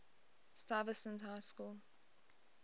stuyvesant high school